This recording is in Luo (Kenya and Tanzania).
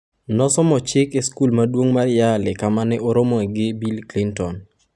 Nosomo chik e skul maduong' mar Yale kama ne oromoe gi Bill Clinton.